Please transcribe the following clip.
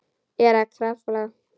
Er að krafla.